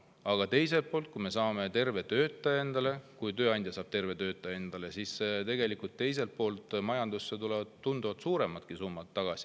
Aga teiselt poolt, kui tööandja saab endale töötaja, kes on terve, siis tegelikult tulevad majandusse tunduvalt suuremad summad tagasi.